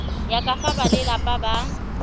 ya ka fa balelapa ba